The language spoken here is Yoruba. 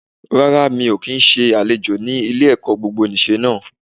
Rárá mi ò n se àlejò ni ilé-èkó gbogbonìse náà